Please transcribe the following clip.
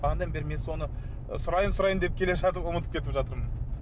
бағанадан бері мен соны сұрайын сұрайын деп келе жатып ұмытып кетіп жатырмын